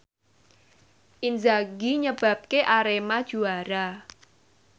Inzaghi nyebabke Arema juara